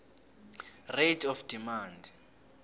rate of demand